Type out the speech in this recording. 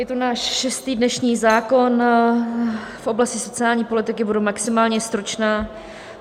Je to náš šestý dnešní zákon v oblasti sociální politiky, budu maximálně stručná.